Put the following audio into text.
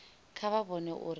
kha vha vhone uri vha